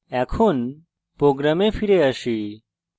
program ফিরে আসি